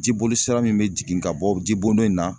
Jiboli sira min bɛ jigin ka bɔ jibo dɔ in na